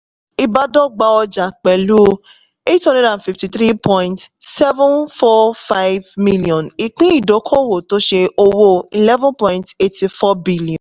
ìbádọ́gba ọjà pẹ̀lú eight hundred and fifty-three point seven four five million ìpín ìdókòwò tó ṣe owó eleven point eighty-four